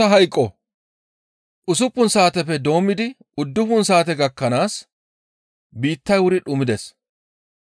Usuppun saateppe doommidi uddufun saate gakkanaas biittay wuri dhumides.